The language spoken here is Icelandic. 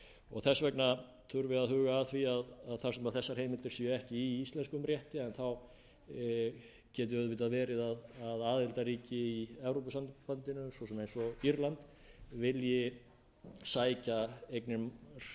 og þess vegna þurfi að huga að því að þar sem þessar heimildir séu ekki í íslenskum rétti en þá geti auðvitað verið að aðildarríki í evrópusambandinu svo sem eins og írland vilji sækja eignir hingað